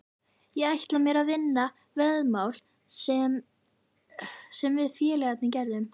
Ég ætla mér að vinna veðmál sem við félagarnir gerðum.